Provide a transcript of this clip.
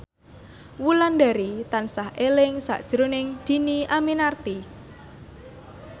Wulandari tansah eling sakjroning Dhini Aminarti